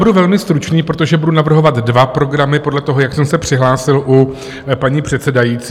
Budu velmi stručný, protože budu navrhovat dva programy podle toho, jak jsem se přihlásil u paní předsedající.